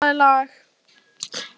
Ella, spilaðu lag.